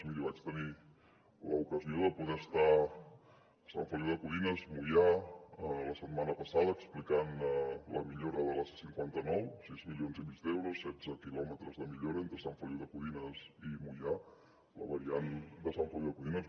miri vaig tenir l’ocasió de poder estar a sant feliu de codines moià la setmana passada explicant la millora de la c cinquanta nou sis milions i mig d’euros setze quilòmetres de millora entre sant feliu de codines i moià la variant de sant feliu de codines